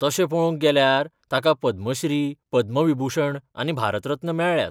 तशें पळोवंक गेल्यार, ताका पद्मश्री, पद्मविभुषण आनी भारत रत्न मेळ्ळ्यात.